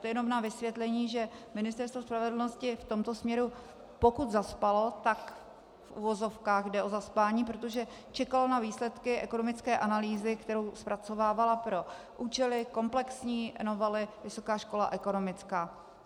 To jen na vysvětlení, že Ministerstvo spravedlnosti v tomto směru, pokud zaspalo, tak v uvozovkách jde o zaspání, protože čekalo na výsledky ekonomické analýzy, kterou zpracovávala pro účely komplexní novely Vysoká škola ekonomická.